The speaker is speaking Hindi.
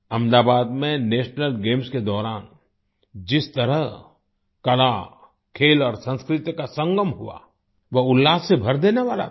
अहमदाबाद में नेशनल गेम्स के दौरान जिस तरह कला खेल और संस्कृति का संगम हुआ वह उल्लास से भर देने वाला था